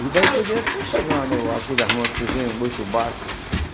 E daí por diante foi chegando aquele muito baixo.